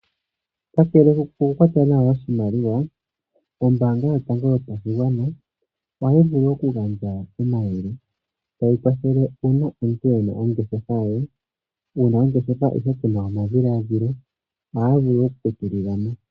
Kakele kokukwata nawa oshimaliwa, ombaanga yotango yopashigwana ohayi vulu okugandja omayele, tayi kwathele uuna omuntu e na ongeshefa ye. Wu na ongeshefa, ihe ku na omadhiladhilo, ohaa vulu oku ku tulila mo.